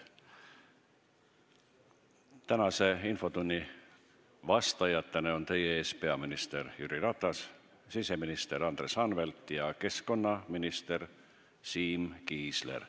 Tänase infotunni vastajatena on teie ees peaminister Jüri Ratas, siseminister Andres Anvelt ja keskkonnaminister Siim Kiisler.